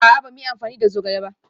A'a, ba mu yi amfani da zogale ba